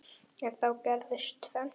En þá gerist tvennt.